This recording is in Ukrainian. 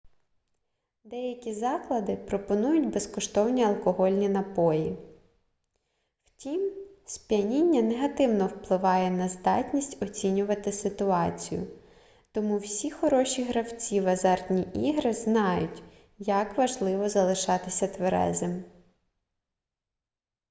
деякі заклади пропонують безкоштовні алкогольні напої втім сп'яніння негативно впливає на здатність оцінювати ситуацію тому всі хороші гравці в азартні ігри знають як важливо залишатися тверезим